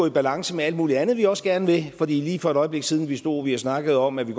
i balance med alt muligt andet vi også gerne vil for lige for et øjeblik siden stod vi og snakkede om at vi